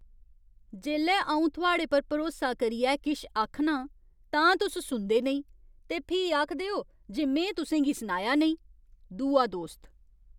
जेल्लै अऊं थुआढ़े पर भरोसा करियै किश आखनां तां तुस सुनदे नेईं ते फ्ही आखदे ओ जे में तुसें गी सनाया नेईं। दूआ दोस्त